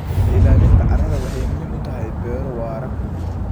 Ilaalinta carrada waxay muhiim u tahay beero waara.